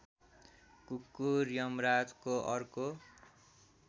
कुकुर यमराजको अर्को